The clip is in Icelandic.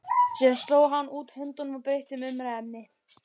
Síðan sló hann út höndunum og breytti um umræðuefni.